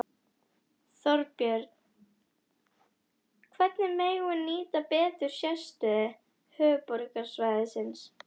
Þorbjörn: Hvernig megum við nýta betur sérstöðu höfuðborgarsvæðisins?